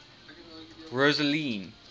rosseline